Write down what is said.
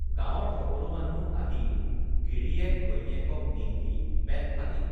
গাঁৱৰ সকলো মানুহ আহি গিৰিয়েক ঘৈণীয়েকক নিন্দি পেটফালি